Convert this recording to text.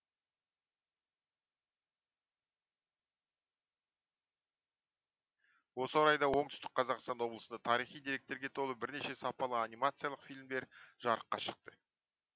осы орайда оңтүстік қазақстан облысында тарихи деректерге толы бірнеше сапалы анимациялық фильмдер жарыққа шықты